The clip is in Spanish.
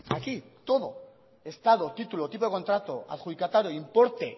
aquí todo estado título de contrato adjudicatario importe